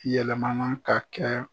Yɛlɛmana ka kɛ.